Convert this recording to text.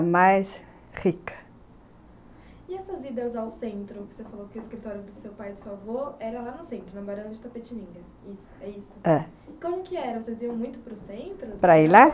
Mais rica. E essas idas ao centro, que você falou que o escritório do seu pai e do seu avô era lá no centro, na Barão de Itapetininga, isso? é isso? é. Como que era, você iam muito para o centro? para ir lá?